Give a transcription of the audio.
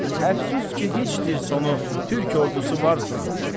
Əfsus ki, heç dir sonu Türk ordusu varsın.